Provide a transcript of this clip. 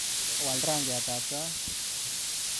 Waal rangyatab tait